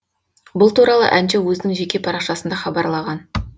бұл туралы әнші өзінің жеке парақшасында хабарлаған